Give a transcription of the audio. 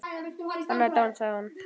Anna er dáin sagði hún.